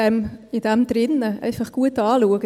Schauen Sie es sich gut an.